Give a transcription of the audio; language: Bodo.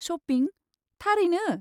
शपिं, थारैनो?